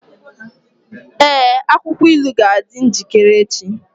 Ee, akwụkwọ ilu ga-adị njikere echi.